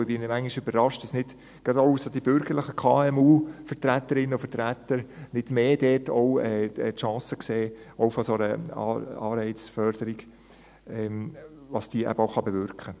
Ich bin manchmal überrascht, dass nicht gerade die bürgerlichen KMU-Vertreterinnen und -Vertreter in einer solchen Anreizförderung und was diese eben bewirken kann, auch eine Chance sehen.